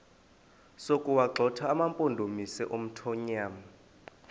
sokuwagxotha amampondomise omthonvama